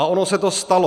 A ono se to stalo.